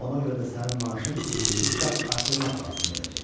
Ona görə də sənin maaşın üç qat artırmaq lazım gələcək.